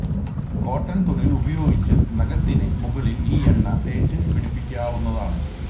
cotton തുണി ഉപയോഗിച്ച് നഖത്തിന് മുകളില് ഈ എണ്ണ തേച്ച് പിടിപ്പിക്കാവുന്നതാണ്